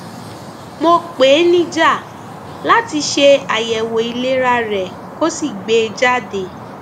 mo pè é níjà láti ṣe àyẹwò ìlera rẹ kó sì gbé e jáde